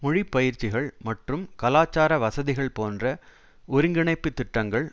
மொழி பயிற்சிகள் மற்றும் கலாச்சார வசதிகள் போன்ற ஒருங்கிணைப்புத் திட்டங்கள்